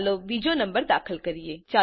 ચાલો બીજો નમ્બર દાખલ કરીએ